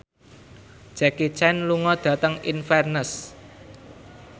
Jackie Chan lunga dhateng Inverness